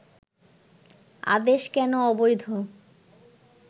আদেশ কেন অবৈধ